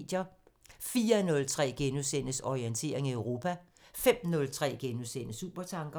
04:03: Orientering Europa * 05:03: Supertanker *